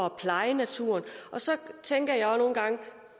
at pleje naturen og så tænker